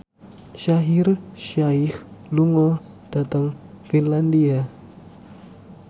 Shaheer Sheikh lunga dhateng Finlandia